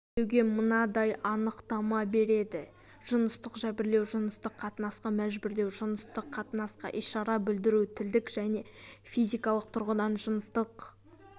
жәбірлеуге мынадай анықтама береді жыныстық жәбірлеу жыныстық қатынасқа мәжбүрлеу жыныстық қатынасқа ишара білдіру тілдік және физикалық тұрғыда жыныстық